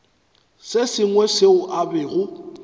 se sengwe seo a bego